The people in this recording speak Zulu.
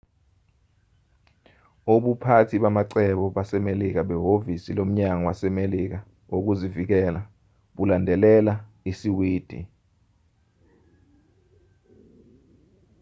ubuphathi bamacebo basemelika behhovisi lomnyango wasemelika wokuzivikela bulandelela isiwidi